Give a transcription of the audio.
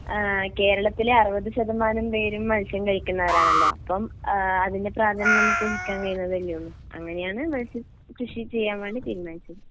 ആഹ് കേരളത്തിലെ അറുപത് ശതമാനം പേരും മത്സ്യം കഴിക്കുന്നവരാണല്ലോ അപ്പം അതിൻ്റെ പ്രാധാന്യം നമുക്ക് ഊഹിക്കാൻ കഴിയുന്നതല്ലയുള്ളു അങ്ങനെയാണ് മത്സ്യകൃഷി ചെയ്യാൻ വേണ്ടി തീരുമാനിച്ചത്.